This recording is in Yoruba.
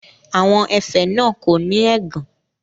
Àwọn ẹ̀fẹ̀ náà kò ní ẹ̀gàn.